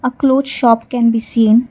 cloth shop can be seen.